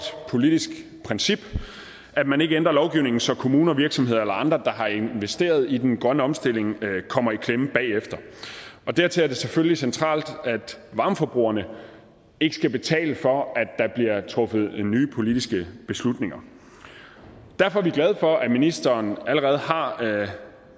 politisk princip at man ikke ændrer lovgivningen så kommuner virksomheder eller andre der har investeret i den grønne omstilling kommer i klemme bagefter dertil er det selvfølgelig centralt at varmeforbrugerne ikke skal betale for at der bliver truffet nye politiske beslutninger derfor er vi glade for at ministeren allerede har